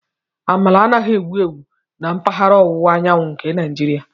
Amala anaghị ewu ewu na mpaghara ọwụwa anyanwụ nke Naijiria.